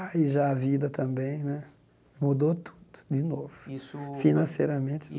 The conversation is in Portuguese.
Aí já a vida também né mudou tudo de novo Isso financeiramente.